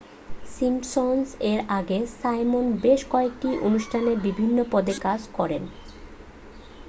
Simpson's এর আগে Simon বেশ কয়েকটি অনুষ্ঠানে বিভিন্ন পদে কাজ করেন